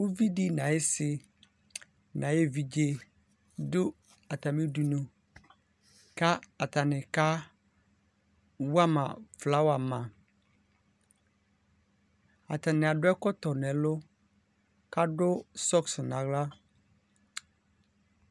ʋvidi nʋ ayisi nʋ ayɛ ɛvidzɛ dʋ atami idʋnʋ kʋ atani ka wama flower ama atani adʋ ɛkɔtɔ nʋ ɛlʋ kʋ adʋbsocks nʋ ala